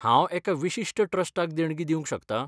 हांव एका विशिश्ट ट्रस्टाक देणगी दिवंक शकतां?